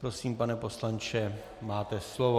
Prosím, pane poslanče, máte slovo.